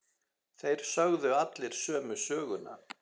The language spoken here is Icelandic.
Þeir sögðu allir sömu söguna.